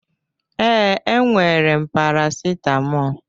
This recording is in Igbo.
Ee, e nwere m Parasitamọl.